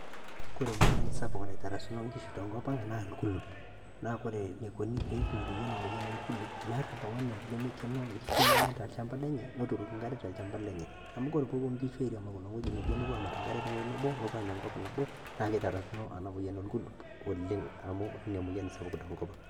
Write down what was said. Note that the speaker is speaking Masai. Kore emoyian sapuk naitarasakino Enkishu tengopnang' naa olkulup, naa kore eneikuni peiboori ena moyian olkulup' meeta oltung'ani lemeikenoo enkishu enyenak tolchampai lenye neturoki enk'are tolchampa lenye. Amu ore peepuo Enkishu airiamakino ewueji nebo nepuo amat Enk'are tewueji nebo nepuo Anya enkop nabo naa keiterakino ena Moyian orkulup oleng' amu ore Ina moyian esapuk tenkop.